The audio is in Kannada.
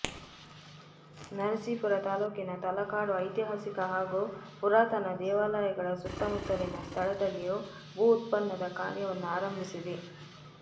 ನರಸೀಪುರ ತಾಲೂಕಿನ ತಲಕಾಡು ಐತಿಹಾಸಿಕ ಹಾಗೂ ಪುರಾತನ ದೇವಾ ಲಯಗಳ ಸುತ್ತಮುತ್ತಲಿನ ಸ್ಥಳದಲ್ಲಿ ಭೂ ಉತ್ಖನನ ಕಾರ್ಯವನ್ನು ಆರಂಭಿಸಿದೆ